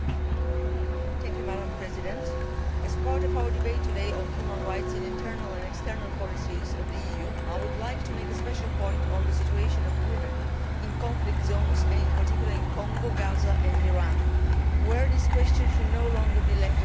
Madam President, as part of our debate today on human rights in EU internal and external policies, I would like to make a special point on the situation of women in conflict zones and in particular in Congo, Gaza and Iran, where this question should no longer be overlooked.